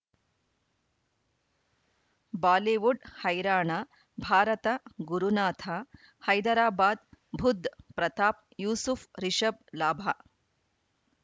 Bollywood ಹೈರಾಣ ಭಾರತ ಗುರುನಾಥ ಹೈದರಾಬಾದ್ ಬುಧ್ ಪ್ರತಾಪ್ ಯೂಸುಫ್ ರಿಷಬ್ ಲಾಭ